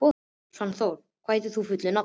Svanþór, hvað heitir þú fullu nafni?